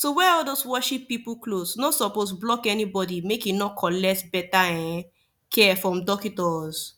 to wear all those worship pipu cloth nor suppos block any bodi make e nor collect beta[um]care from dockitos